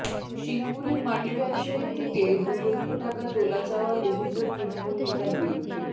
সিঙ্গুরের মাটি ব্যবসায়ীর থেকে দু লক্ষ টাকা তোলা চাওয়ার অভিযোগ তৃণমুল নেতার বিরুদ্ধে